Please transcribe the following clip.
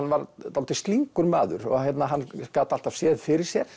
dálítið slyngur maður og hann gat alltaf séð fyrir sér